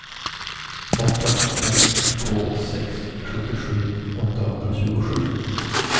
åtta fem två sex sjuttiosju åttahundratjugosju